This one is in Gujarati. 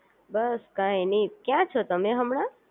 બસ કઈ નય ક્યાં છો તમે હમણાં